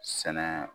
Sɛnɛ